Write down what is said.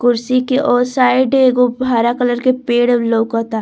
कुर्शी के ओ साइड एगो हरा कलर के पेड़ लोकअता।